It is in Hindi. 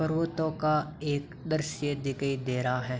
पर्वतों का एक द्रष्य दीकई दे रहा है।